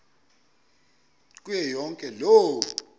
kuyo yonke loo